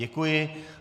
Děkuji.